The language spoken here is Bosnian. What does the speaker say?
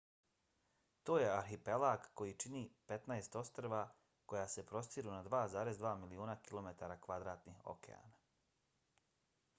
to je arhipelag koji čini 15 ostrva koja se prostiru na 2,2 miliona km2 okeana